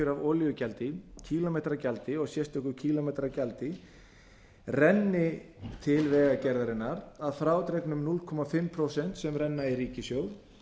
af olíugjaldi kílómetragjaldi og sérstöku kílómetragjaldi renni til vegagerðarinnar að frádregnum hálft prósent sem renna í ríkissjóð